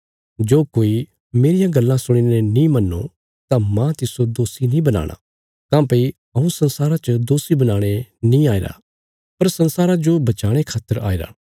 जो कोई मेरियां गल्लां सुणीने नीं मन्नो तां मांह तिस्सो दोषी नीं बनाणा काँह्भई हऊँ संसारा च दोषी बनाणे नीं आईरा पर संसारा जो बचाणे खातर आईरा